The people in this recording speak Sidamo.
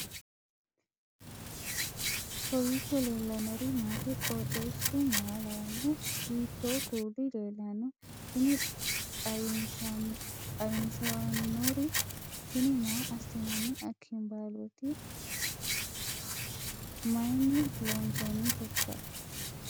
kowiicho leellannori maati ? qooxeessu maa lawaanno ? hiitoo kuuli leellanno ? tini xawissannori tini maa assinanni akambaaloti mayinni loonsoonniteikka